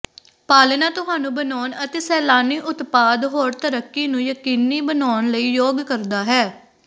ਪਾਲਣਾ ਤੁਹਾਨੂੰ ਬਣਾਉਣ ਅਤੇ ਸੈਲਾਨੀ ਉਤਪਾਦ ਹੋਰ ਤਰੱਕੀ ਨੂੰ ਯਕੀਨੀ ਬਣਾਉਣ ਲਈ ਯੋਗ ਕਰਦਾ ਹੈ